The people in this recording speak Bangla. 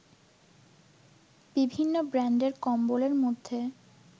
বিভিন্ন ব্র্যান্ডের কম্বলের মধ্যে